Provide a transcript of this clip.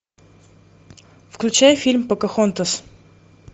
включай фильм покахонтас